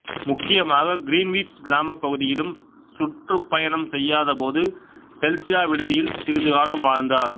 முக்கியமாக கிரீன்விச் கிராமப் பகுதியிலும் சுற்றுப்பயணம் செய்யாதபோது செல்சியா விடுதியிலும் சிறிது காலம் வாழ்ந்தார்